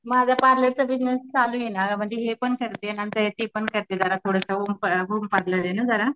माझा पार्लरचा बिजनेस चालू आहे ना म्हणजे हे पण करते नंतर ते पण करते होम पार्लर आहे ना जरा.